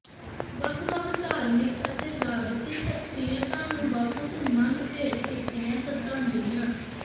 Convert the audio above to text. ਵੱਖ ਵੱਖ ਧਾਰਮਿਕ ਅਤੇ ਰਾਜਸੀ ਸਖਸੀਅਤਾ ਨੇ ਬਾਪੂ ਧੂੰਮਾ ਨੂੰ ਭੇਂਟ ਕੀਤੀਆ ਸਰਧਾਜਲੀਆ